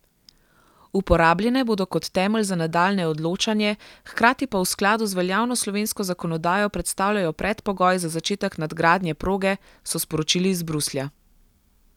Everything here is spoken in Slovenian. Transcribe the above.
Uporabljene bodo kot temelj za nadaljnje odločanje, hkrati pa v skladu z veljavno slovensko zakonodajo predstavljajo predpogoj za začetek nadgradnje proge, so sporočili iz Bruslja.